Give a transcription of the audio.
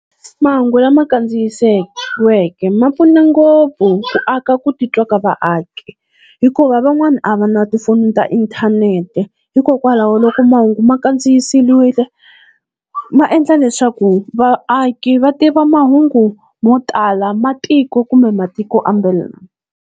Mahungu lama kandziyisiweke ma pfuna ngopfu ku aka ku titwa ka vaaki, hikuva van'wana a va na tifoni ta inthanete hikokwalaho loko mahungu ma kandziyisiwile ma endla leswaku vaaki va tiva mahungu mo tala ma tiko kumbe matiko .